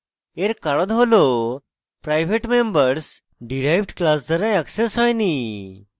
এর কারণ হল private members derived class দ্বারা অ্যাক্সেস হয়নি